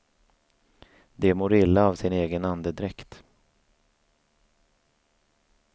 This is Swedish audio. De mår illa av sin egen andedräkt.